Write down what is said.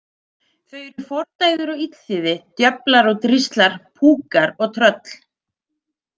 Þau eru fordæður og illþýði, djöflar og dríslar, púkar og tröll.